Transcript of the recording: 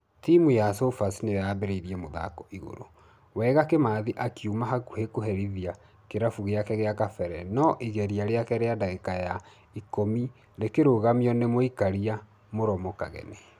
Timũ ya sofas nĩoyambereire mũthako (igũrũ) wega kimathi akĩuma hakuhĩ kũherithia kĩrabũ gĩake gĩa kabere nũ igeria rĩake rĩa dagĩka ya ikũmi rĩkĩrũgamio nĩ mũikaria mũromo kageni.